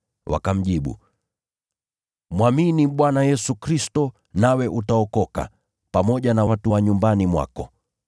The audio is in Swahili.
Wakamjibu, “Mwamini Bwana Yesu Kristo, nawe utaokoka, pamoja na watu wa nyumbani mwako.”